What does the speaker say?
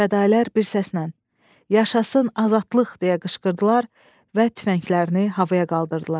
Fədailər bir səslə: Yaşasın azadlıq! deyə qışqırdılar və tüfənglərini havaya qaldırdılar.